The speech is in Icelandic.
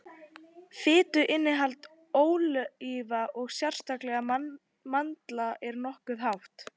fituinnihald ólíva og sérstaklega mandla er nokkuð hátt